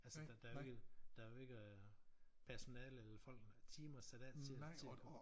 Altså der ikke der jo ikke øh personale eller folk nok timer sat af til til